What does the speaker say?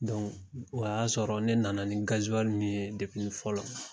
o y'a sɔrɔ ne nana ni gaziwali min ye fɔlɔ